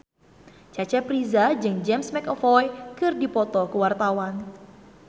Cecep Reza jeung James McAvoy keur dipoto ku wartawan